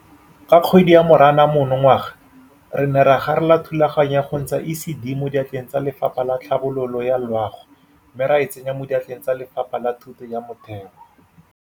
Ka kgwedi ya Moranang monongwaga re ne ra garela thulaganyo ya go ntsha ECD mo diatleng tsa Lefapha la Tlhabololo ya Loago mme ra e tsenya mo diatleng tsa Lefapha la Thuto ya Motheo.